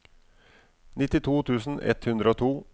nittito tusen ett hundre og to